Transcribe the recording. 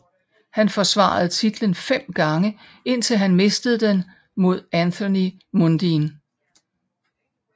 Han forsvarede titlen fem gange indtil han mistede den mod Anthony Mundine